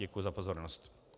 Děkuju za pozornost.